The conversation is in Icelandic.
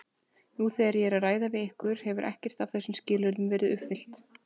Nú þegar ég er að ræða við ykkur hefur ekkert af þessum skilyrðum verið uppfyllt.